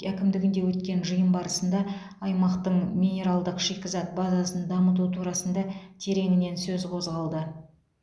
әкімдігінде өткен жиын барысында аймақтың минералдық шикізат базасын дамыту турасында тереңінен сөз қозғалды